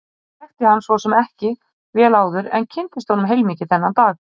Ég þekkti hann svo sem ekki vel áður en kynntist honum heilmikið þennan dag.